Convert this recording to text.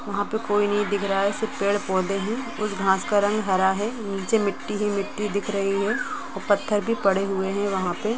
वहा पे कोई नहीं दिख रहा है सिर्फ पेड़ पौधे ही उस घास का रंग हरा हैनीचे मिट्टी ही मिट्टी ही दिख रही है पत्थर भी पड़े हुए है वहा पे।